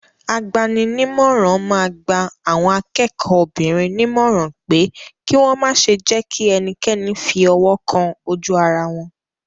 Agbaninímọ̀ràn máa gba àwọn akẹ́kọ̀ọ́ obìnrin nímọ̀ràn pé kí wọ́ ma ṣe jẹ́kí ẹnikẹ́ni fi ọwọ́ kan ojú ara wọn.